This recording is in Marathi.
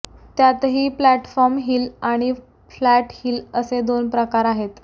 त्यातही प्लॅटफॉर्म हिल आणि फ्लॅट हिल असे दोन प्रकार आहेत